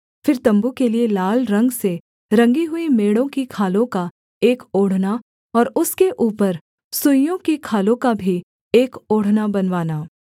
फिर तम्बू के लिये लाल रंग से रंगी हुई मेढ़ों की खालों का एक ओढ़ना और उसके ऊपर सुइसों की खालों का भी एक ओढ़ना बनवाना